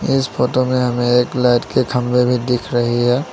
इस फोटो में हमें एक लाइट के खंभे भी दिख रही है।